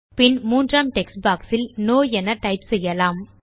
பின் மூன்றாம் text box இல் no என டைப் செய்யலாம்